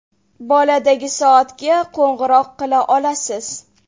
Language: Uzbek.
Boladagi soatga qo‘ng‘iroq qila olasiz.